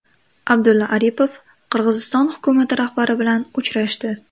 Abdulla Aripov Qirg‘iziston hukumati rahbari bilan uchrashdi.